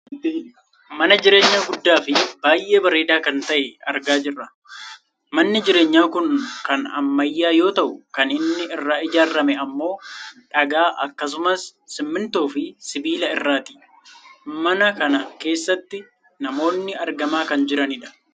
mana jireenyaa guddaa fi baayyee bareedaa kan ta'e argaa jirra. manni jireenyaa kun kan ammayyaa yoo ta'u kan inni irraa ijaarrame ammoo dhagaa akkasumas simmintoofi sibiila irraati. mana kana keessatti namoonnis argamaa kan jiranidha.